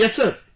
Yes Sir